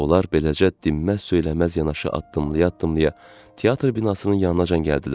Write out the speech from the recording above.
Onlar beləcə dinməz-söyləməz yanaşı addımlaya-addımlaya teatr binasının yanınacan gəldilər.